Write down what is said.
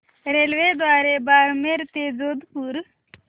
रेल्वेद्वारे बारमेर ते जोधपुर